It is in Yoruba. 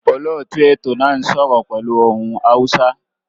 Olóòtú ètò náà n sọ́rọ́ pẹ́lu ohun Hausa